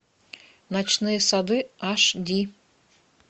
ночные сады аш ди